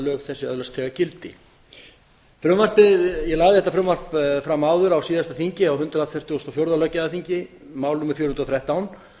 lög þessi öðlast þegar gildi ég lagði þetta frumvarp fram áður á síðasta þingi á hundrað fjörutíu og fjögur löggjafarþingi mál númer fjögur hundruð og þrettán